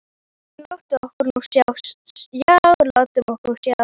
En látum okkur nú sjá, já, látum okkur nú sjá.